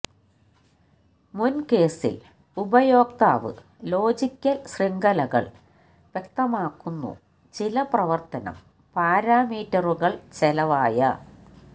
മുൻ കേസിൽ ഉപയോക്താവ് ലോജിക്കൽ ശൃംഖലകൾ വ്യക്തമാക്കുന്നു ചില പ്രവർത്തനം പാരാമീറ്ററുകൾ ചെലവായ